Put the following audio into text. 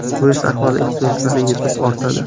Bu esa aholi ehtiyojlari yetib ortadi.